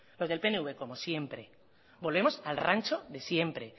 los del pnv como siempre volvemos al rancho de siempre